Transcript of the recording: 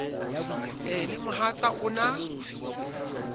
e le mohatsa o na